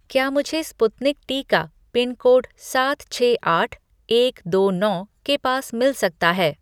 क्या मुझे स्पुतनिक टीका पिनकोड सात छह आठ एक दो नौ के पास मिल सकता है